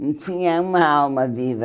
Não tinha uma alma viva.